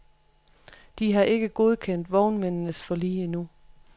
De har ikke godkendt vognmændenes forlig endnu.